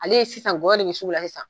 Ale sisan, ngɔyɔ de bɛ sugu la sisan.